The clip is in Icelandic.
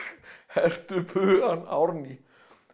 hertu upp hugann Árný